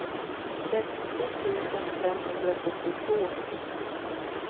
trettio tusen femhundrasjuttiotvå